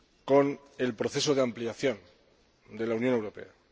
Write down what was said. con el proceso de ampliación de la Unión Europea.